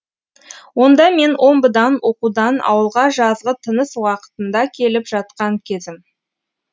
онда мен омбыдан оқудан ауылға жазғы тыныс уақытында келіп жатқан кезім